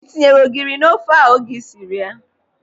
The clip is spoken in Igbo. Ị tinyere ogiri n'ofe a oge ịsịrị ya?